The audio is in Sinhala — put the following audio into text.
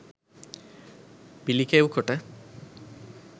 පිළිකෙව් කොට